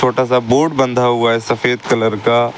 छोटा सा बोर्ड बंधा हुआ है सफेद कलर का।